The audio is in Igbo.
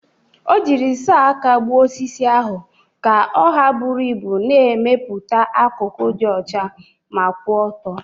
O jirila sọọ aka gbuo osisi ahụ ka ọ ha buru ibu, na-emepụta akụkụ dị ọcha ma kwụ ọtọ.